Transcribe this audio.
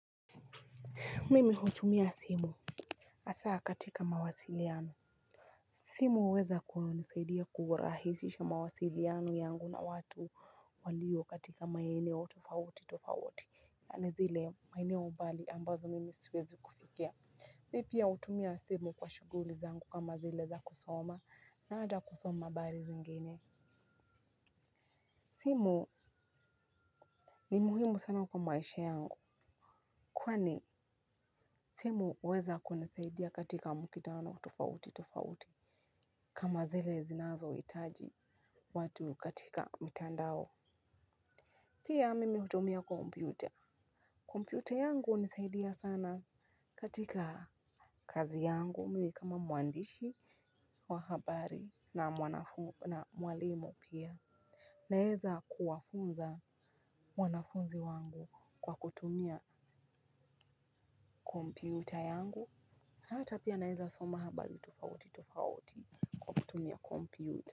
Mimi hutumia simu hasa katika mawasiliano simu huweza kunisaidia kurahisisha mawasiliano yangu na watu waliyo katika maeneo tofauti tofauti ni zile maeneo mbali ambazo mimi siwezi kufikia mimi pia hutumia simu kwa shughuli zangu kama zile za kusoma na hata kusoma habari zingine simu ni muhimu sana kwa maisha yangu kwani simu huweza kunisaidia katika mkutano tofauti tofauti kama zile zinazo hitaji watu katika mitandao pia mimi hutumia kompyuta kompyuta yangu hunisaidia sana katika kazi yangu mimi kama mwandishi, wa habari na mwalimu pia naweza kuwafunza wanafunzi wangu kwa kutumia kompyuta yangu hata pia naweza soma habari tofauti tofauti kwa kutumia kompyuta.